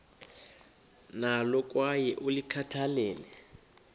nalo kwaye ulikhathalele